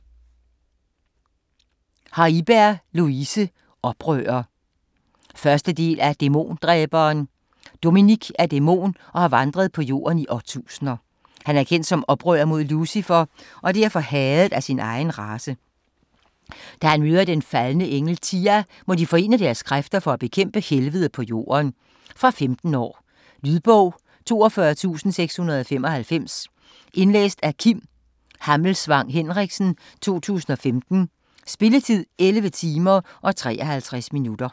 Haiberg, Louise: Oprører 1. del af Dæmondræberen. Dominic er dæmon og har vandret på Jorden i årtusinder. Han er kendt som oprører mod Lucifer og derfor hadet af sin egen race. Da han møder den faldne engel Tia, må de forene deres kræfter for at bekæmpe helvede på Jorden. Fra 15 år. Lydbog 42695 Indlæst af Kim Hammelsvang Henriksen, 2015. Spilletid: 11 timer, 53 minutter.